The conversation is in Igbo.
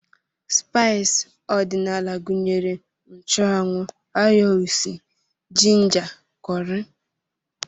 Spaịs ọdịnala gụnyere nchụanwụ, ayo usi, jinja, kọrị